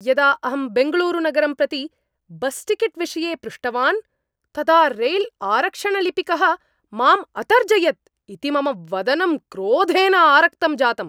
यदा अहं बेङ्गलूरुनगरं प्रति बस्टिकेट् विषये पृष्टवान् तदा रैल्आरक्षणलिपिकः माम् अतर्जयत् इति मम वदनं क्रोधेन आरक्तं जातम्।